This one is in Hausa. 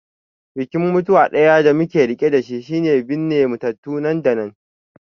Bikin mutuwa ɗaya da muke riƙe da shi shine binne matattu nan da nan.